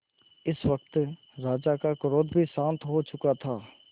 इस वक्त राजा का क्रोध भी शांत हो चुका था